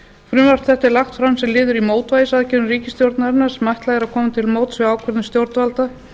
frumvarp þetta er lagt fram sem liður í mótvægisaðgerðum ríkisstjórnarinnar sem ætlað er að koma til móts við ákvörðun stjórnvalda